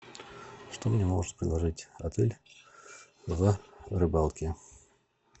что мне может предложить отель в рыбалке